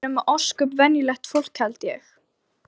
Við erum ósköp venjulegt fólk held ég.